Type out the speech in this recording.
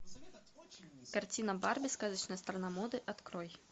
картина барби сказочная страна моды открой